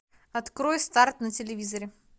открой старт на телевизоре